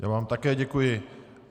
Já vám také děkuji.